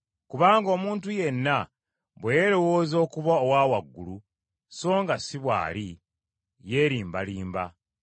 Kubanga omuntu yenna bwe yeerowooza okuba owa waggulu so nga si bw’ali, yeerimbarimba.